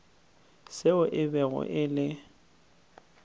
seo e bego e le